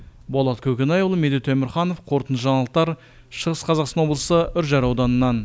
болат көкенайұлы медет өмірханов қорытынды жаңалықтар шығыс қазақстан облысы үржар ауданынан